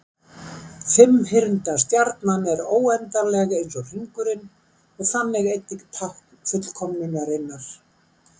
Fimmhyrnda stjarnan er óendanleg eins og hringurinn og þannig einnig tákn fullkomnunarinnar.